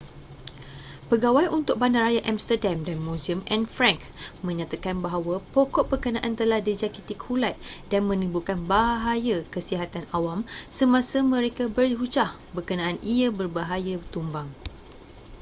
pegawai untuk bandaraya amsterdam dan muzium anne frank menyatakan bahwa pokok berkenaan telah dijangkiti kulat dan menimbulkan bahaya kesihatan awam semasa mereka berhujah berkenaan ia berbahaya tumbang